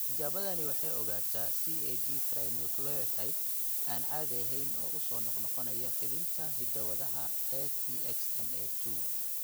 Tijaabadani waxay ogaataa CAG trinucleotide aan caadi ahayn oo soo noqnoqonaya fidinta hidda-wadaha ATXN2.